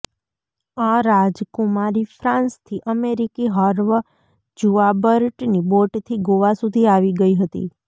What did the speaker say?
આ રાજકુમારી ફ્રાન્સથી અમેરિકી હર્વ જુઆબર્ટની બોટથી ગોવા સુધી આવી ગઈ હતી